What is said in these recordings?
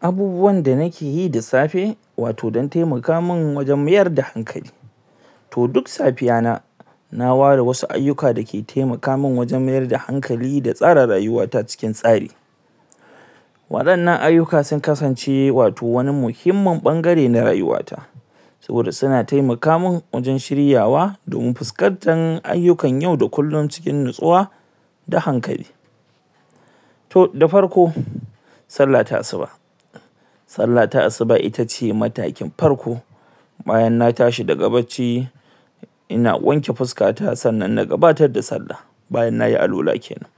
abubuwan da nikeyi da safe wato don taimaka man wajen mayar da hankali to duk safiya na na ware wasu ayuka dake taimaka man wajen mayar da hankali da tsare rayuwata cikin tsari wadannan ayuka sun kasance wato mani muhimmin bangare na rayuwa ta saboda suna taiamaka man wajen shiryawa domin fuskantar ayukan yau da kullin cikin natsuwa da hankali to da farko sallah ta asuba sallah ta asuba itace matakin farko bayan na tashi daga bacci ina wanke fuskata sannan na gabatar da sallan bayan nayi alwala kenan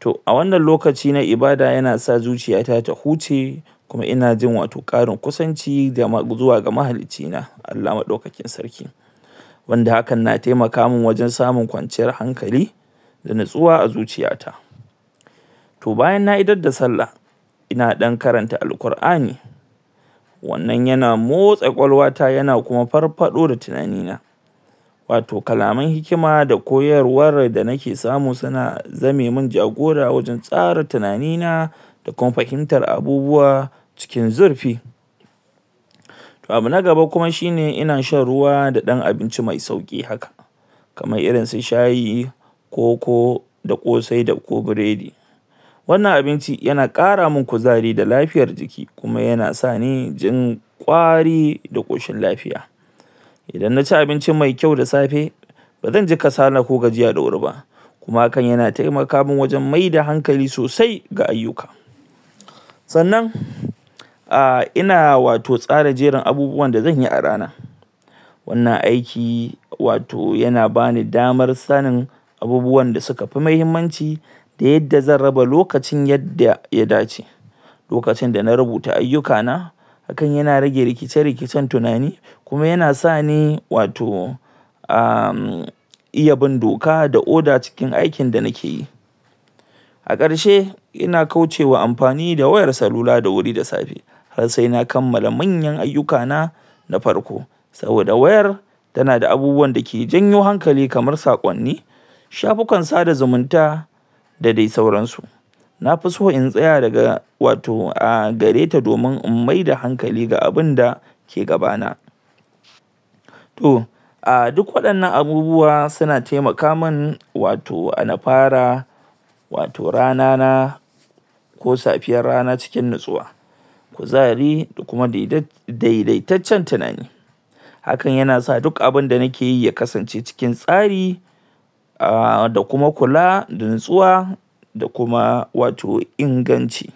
to a wannan lokaci na ibada yana sa zuciyata ta huce kuma inajin wato karin kusanci zuwa ga mahalicci na ALLAH madaukakin sarki wanda hakan na taimaka man wajen samun kwanciyar hankali da natsuwa a zuciya ta to bayan da idar da sallah ina dan karanta al-qurani wannan yana motsa kwakwalwa ta yana kuma farfado da tunani na wato kalaman hikima da koyarwar da nike samu suna zame man ja gora waje tsara tunani na da kuma fahimtar abubuwa cikin zurfi to abu na gaba kuma shine ina shan ruwa da dan abinci mai sauki haka kamar irin su shayi koko da kosai da ko biredi wannan abincin yana kara man kuzari da lafiyar jiki kuma yana sani jin kwari da koshin lafiya idan naci abinci mai kyau da safe bazanji kasala ko gajiya da wuri ba kuma hakan yana taimaka man wajen maida hankali sosai ga ayuka sannan ah ina wato tsara jerin abubuwan da zanyi a rana wannan aiki wato yana bani damar sanin abubuwanda su kafi mahimmanci da yadda zan raba lokacin yadda ya dace lokacin dana rubuta ayuka na hakan yana rage rikice rikice tunani kuma yana sani wato am iya bin doka da oda cikin aikin da nikeyi a karshe ina kauce wa yin amfani da wayar salula da safe har sai na kammala manyan ayuka na na farko saboda wayar tana daabubuwan dake janyo hankali kamar sakonni shafufukan sada zumunta da dai sauransu na fiso in tsaya daga wato ah gare ta domin in maida hankali ga abinda ke gaba na to ah duk wadannan abubuwa suna taimaka ma n wato na fara wato rana na ko safiyar rana cikin natsuwa kuzari da kuma daidaitaccen tunani hakan yana san dukan abun da nikeyi ya kasance cikin tsari ah da kuma kula da natsuwa da kuma wato inganci